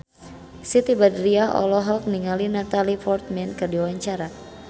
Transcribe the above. Siti Badriah olohok ningali Natalie Portman keur diwawancara